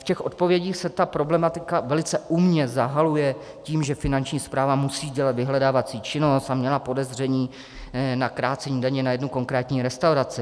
V těch odpovědích se ta problematika velice umně zahaluje tím, že Finanční správa musí dělat vyhledávací činnost a měla podezření na krácení daně na jednu konkrétní restauraci.